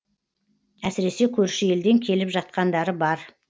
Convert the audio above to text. әсіресе көрші елден келіп жатқандары бар